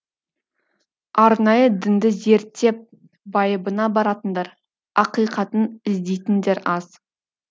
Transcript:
арнайы дінді зерттеп байыбына баратындар ақиқатын іздейтіндер аз